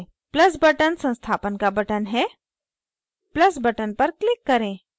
plus button संस्थापन का button है plus button पर click करें